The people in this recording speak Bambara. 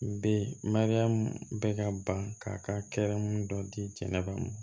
Be mariyamu bɛ ka ban k'a ka kɛrɛn dɔ di jɛnɛba mɔ